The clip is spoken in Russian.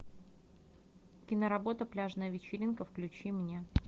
киноработа пляжная вечеринка включи мне